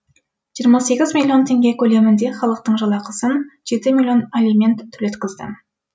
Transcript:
жиырма сегіз миллион теңге көлемінде халықтың жалақысын жеті миллион алимент төлеткіздім